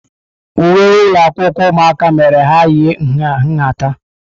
Uwe ụlọ akwụkwọ ụmụaka mere ka ha yie nha nhata.